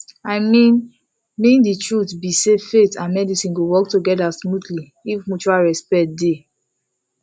i mean mean the truth be sayfaith and medicine go work together smoothly if mutual respect dey